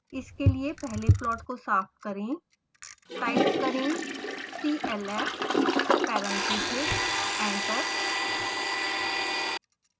इसके लिए पहले प्लॉट का साफ करें